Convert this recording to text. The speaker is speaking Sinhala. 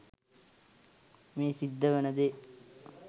මේ සිද්ධ වෙන දේ